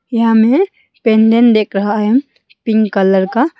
यहा मे देक रहा है पिंक कलर का।